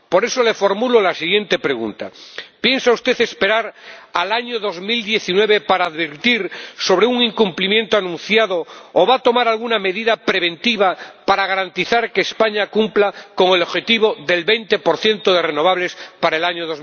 Por eso, le formulo la siguiente pregunta ¿Piensa usted esperar al año 2019 para advertir sobre un incumplimiento anunciado o va a tomar alguna medida preventiva para garantizar que España cumpla el objetivo del 20 de energías renovables para el año